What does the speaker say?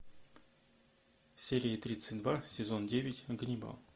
серия тридцать два сезон девять ганнибал